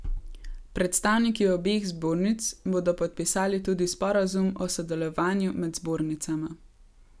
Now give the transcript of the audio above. Predstavniki obeh zbornic bodo podpisali tudi sporazum o sodelovanju med zbornicama.